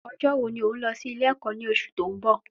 Ọ̀jọ wo ni òún lọ sí ilé ẹ̀kọ́ ní oṣù ti oun bọ̀?